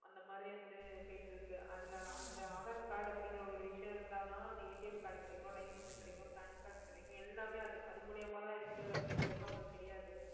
அந்த மாதிரி வந்து போயிட்டிருக்கு அதுல அந்த aadhar card அப்படிங்கற ஒரு விஷயம் இருந்தாதான் அந்த card கிடைக்கும் license கிடைக்கும் pan card கிடைக்கும் எல்லாமே அது அது மூலியமாதான் இருக்கு அப்படிங்கறது அவங்களுக்குத் தெரியாது